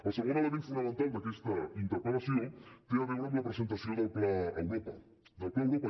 el segon element fonamental d’aquesta interpel·lació té a veure amb la presentació del pla europa del pla europa